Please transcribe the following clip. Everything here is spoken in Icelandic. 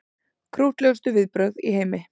Krúttlegustu viðbrögð í heimi